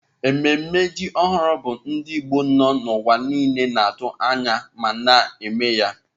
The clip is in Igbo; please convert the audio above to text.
Ememme ji ọhụrụ bụ ndị Igbo nọ n'ụwa niile na-atụ anya ma na-eme ya.